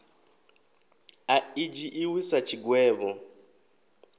a i dzhiiwi sa tshigwevho